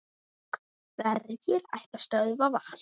Hverjir ætla að stöðva Val?